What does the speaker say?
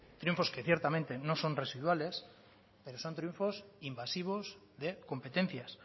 triunfos que ciertamente no son residuales pero son triunfos invasivos de competencias